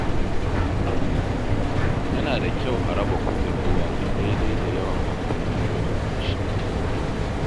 Yana da kyau a raba kuɗin ruwa daidai da yawan amfanin mutum da shi.